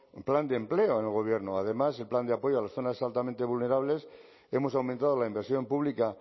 un plan de empleo en el gobierno además el plan de apoyo a las zonas altamente vulnerables hemos aumentado la inversión pública